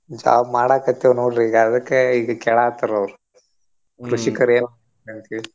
Job ಮಾಡಾಕತ್ತೇವ್ ನೋಡ್ರಿ ಈಗ ಅದಕ್ಕ ಈಗ ಕೇಳಾತಾರ ಅವ್ರ್ ಏನ ಅಂತ ಹೇಳಿ.